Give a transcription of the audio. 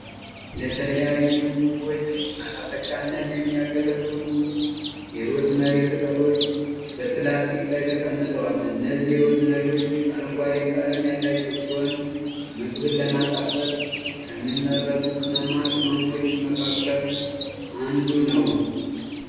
ለተለያዩ ምግቦች ማጣፈጫነት የሚያገለግሉ የሮዝመሪ ቅጠሎች በፕላስቲክ ላይ ተቀምጠዋል። እነዚህ ሮዝመሪዎች አረንጓዴ ቀለም ያላቸው ሲሆን ምግብን ለማጣፈጥ ከሚመረጡ ቅመማ ቅመሞች መካከል አንዱ ነው።